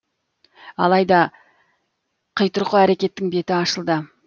алайда қитұрқы әрекеттің беті ашылды